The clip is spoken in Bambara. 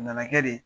A nana kɛ de